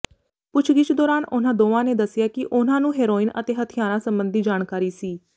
ਪੁੱਛਗਿੱਛ ਦੌਰਾਨ ਉਨ੍ਹਾਂ ਦੋਵਾਂ ਨੇ ਦਸਿਆ ਕਿ ਉਨ੍ਹਾਂ ਨੂੰ ਹੈਰੋਇਨ ਅਤੇ ਹੱਥਿਆਰਾਂ ਸਬੰਧੀ ਜਾਣਕਾਰੀ ਸੀ